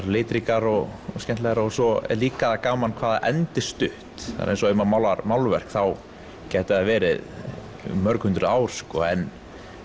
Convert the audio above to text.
litríkar og skemmtilegar og svo er líka gaman hvað það endist stutt bara eins og ef maður málar málverk þá getur það verið í mörg hundruð ár en